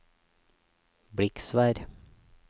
Bliksvær